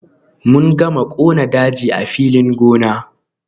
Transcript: Mun gama kona daji a filin gona.